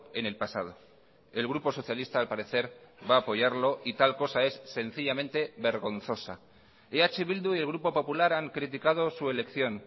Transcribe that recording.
en el pasado el grupo socialista al parecer va a apoyarlo y tal cosa es sencillamente vergonzosa eh bildu y el grupo popular han criticado su elección